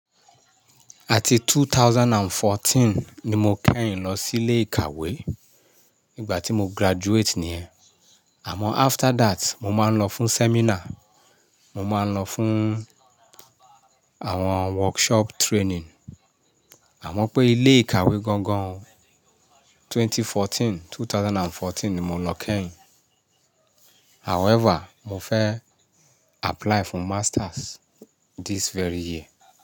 Àti two thousand and fourteen ni mo kẹ́yìn lọ sí ilé ìkàwé nígbà tí mo graduate ní è. Àmọ́ after that mo máa ń lọ fún seminar, mo máa ń lọ fún àwọn workshop training. Àmọ́ pé ilé ìkàwé gangan twenty fourteen, two thousand and fourteen ni mo lọ kẹ́yìn. However, mo fẹ́ apply fún masters this very year.